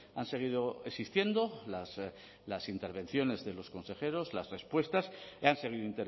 han seguido existiendo las intervenciones de los consejeros las respuestas han seguido